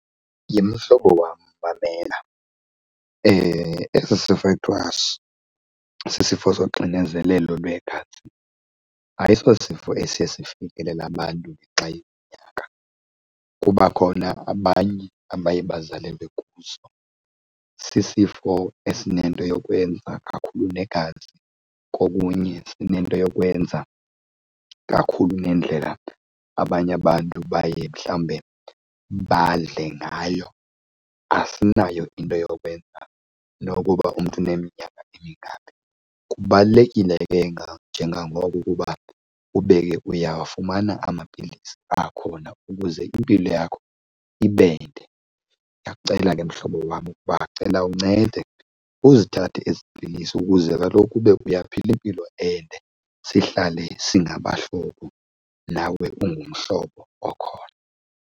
Yhe mhlobo wam, mamela. Esi sifo sisifo soxinzelelo lwegazi ayisosifo esiye sifikelele abantu ngenxa yeminyaka kuba khona abanye abaye bazalwe kuso. Sisifo esinento yokwenza kakhulu negazi, kokunye sinento yokwenza kakhulu nendlela abanye abantu baye mhlawumbe badle ngayo. Asinayo into yokwenza nokuba umntu uneminyaka emingaphi. Kubalulekile ke njengangoko ukuba ube ke uyawafumana amapilisi akhona ukuze impilo yakho ibe nde. Ndiyakucela ke mhlobo wam ukuba cela uncede uzithathe ezi pilisi ukuze kaloku ube uyaphila impilo ende sihlale singabahlobo nawe ungumhlobo okhona.